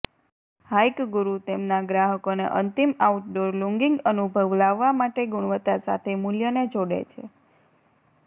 hike Guru તેમના ગ્રાહકોને અંતિમ આઉટડોર લૂંગિંગ અનુભવ લાવવા માટે ગુણવત્તા સાથે મૂલ્યને જોડે છે